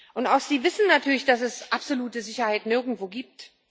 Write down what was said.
Und auch sie wissen natürlich, dass es absolute Sicherheit nirgendwo gibt.